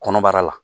Kɔnɔbara la